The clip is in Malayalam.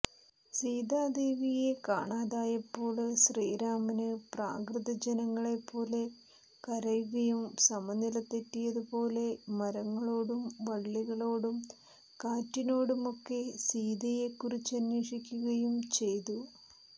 സീതാദേവിയെ കാണാതായപ്പോള് ശ്രീരാമന് പ്രാകൃതജനങ്ങളെപ്പോലെ കരയുകയും സമനിലതെറ്റിയതുപോലെ മരങ്ങളോടും വള്ളികളോടും കാറ്റിനോടുമൊക്കെ സീതയെക്കുറിച്ചന്വേഷിക്കുകയും ചെയ്തു